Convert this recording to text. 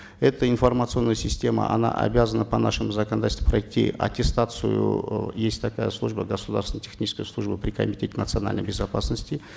эта информационная система она обязана по нашему законодательству пройти аттестацию э есть такая служба государственно техническая служба при комитете национальной безопасности